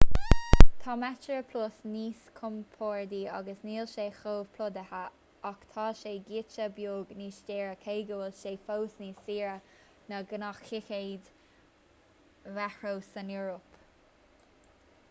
tá metroplus níos compordaí agus níl sé chomh plódaithe ach tá sé giota beag níos daoire cé go bhfuil sé fós níos saoire na gnáththicéid mheitreo san eoraip